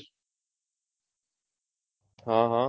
હા હા